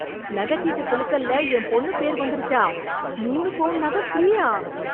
நகை சீட்டு குலுக்கல்ல என் பொண்ணு பேர் வந்துடுச்சா, மூணு பவுன் நகை ஃப்ரீயா?